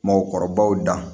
Mɔgɔkɔrɔbaw da